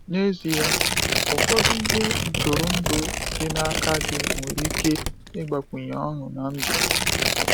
N’ezie, ụfọdụ ihe ntụrụndụ dị n’aka gị nwere ike ịgbakwunye ọṅụ na ndụ.